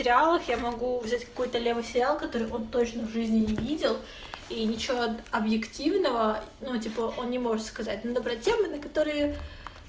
реалах я могу взять какой-то левый фиал который он точно в жизни не видел и ничего объективного ну типа он не может сказать надо брать темы на которые